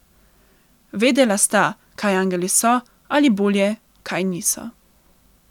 Vedela sta, kaj angeli so, ali bolje, kaj niso.